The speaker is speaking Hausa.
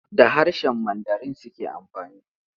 Da harshen Mandarin suke amfani.